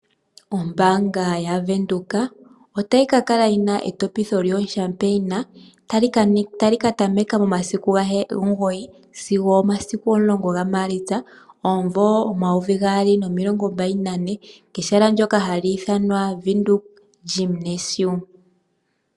Ombanga ya venduka otayi ka kala yina etopitho lyo shampaniya, tali ka tameka momasiku omugoyi sigo omasiku omulongo ga Maalitsa, omumvo omayovi gaali nomilongo mbali nane, kehala ndyoka halii thanwa Windhoek Gymnasium.